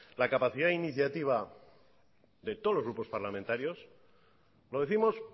la capacidad de iniciativa de todos los grupos parlamentarios lo décimos